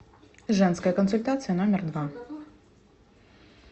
женская консультация номер два